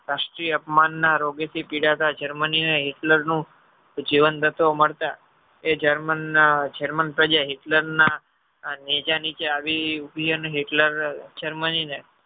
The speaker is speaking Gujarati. રાષ્ટ્રીય અપમાન ના રોગે થી પિડાતા germany ને Hitler નું જીવન ગ્રન્થો મળશે એ germany પ્રજા Hitler ના નેજા નીચે આવી ઉભી અને Hitler Germany ને